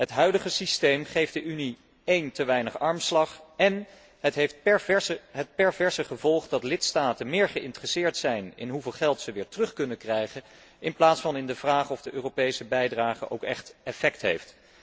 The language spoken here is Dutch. Het huidige systeem geeft de Unie te weinig armslag en heeft het perverse gevolg dat lidstaten meer geïnteresseerd zijn in hoeveel ze weer terug kunnen krijgen in plaats van in de vraag of de Europese bijdrage ook echt effect heeft.